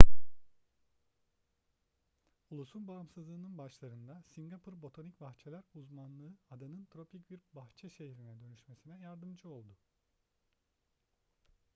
ulusun bağımsızlığının başlarında singapur botanik bahçeler uzmanlığı adanın tropik bir bahçe şehrine dönüşmesine yardımcı oldu